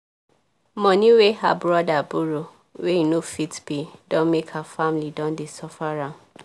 moni wey her brother borrow wey e no fit pay don make her family don dey suffer am